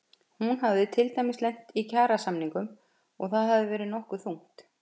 Hún hafi til dæmis lent í kjarasamningum og það hafi verið nokkuð þungt.